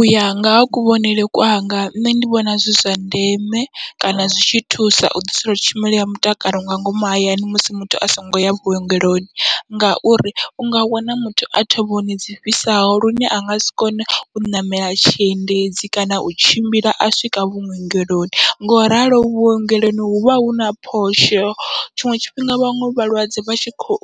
Uya nga ha kuvhonele kwanga nṋe ndi vhona zwi zwa ndeme kana zwi tshi thusa u ḓiselwa tshumelo ya mutakalo nga ngomu hayani musi muthu asongo ya vhuongeloni, ngauri unga wana muthu a thovhoni dzi fhisaho lune angasi kone u ṋamela tshiendedzi kana u tshimbila a swika vhuongeloni, ngoralo vhuongeloni huvha huna phosho tshiṅwe tshifhinga vhaṅwe vhalwadze vhatshi kho